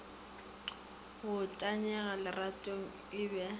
go tanyega leratong e be